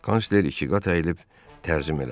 Kansler ikiqat əyilib tərzim elədi.